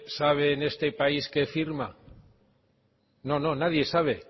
sabe en este país qué firma no no nadie sabe